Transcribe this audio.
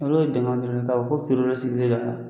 Hali o dama fɛnɛ k'a fɔ ko dɔ sigilen don a la.